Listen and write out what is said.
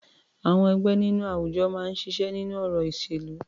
Àwọn ẹgbẹ́ nínú àwùjọ máa ń ṣiṣẹ́ nínú ọ̀rọ̀ ìṣèlú.